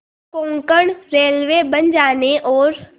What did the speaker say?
Konkan railway बन जाने और